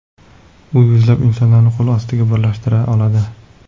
U yuzlab insonlarni qo‘l ostida birlashtira oladi.